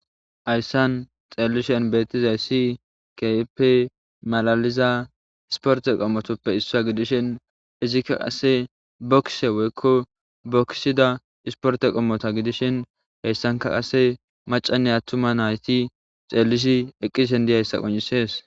Ayssan xeellishen beettizay si keeppe malaliza isporte qommotoppe issaa gidishin izikka qasse bokkse woykko bokkisida isporte qommota gidishin heyssanka qase macanne attuma nayti xeellishi eqqisin di ayssa qonisees.